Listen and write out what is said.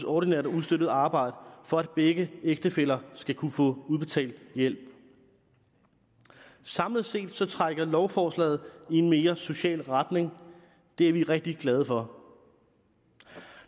ordinært og ustøttet arbejde for at begge ægtefæller skal kunne få udbetalt hjælp samlet set set trækker lovforslaget i en mere social retning det er vi rigtig glade for